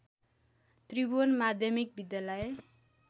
त्रिभुवन माध्यमिक विद्यालय